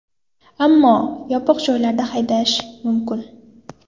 Ammo yopiq joylarda haydash mumkin.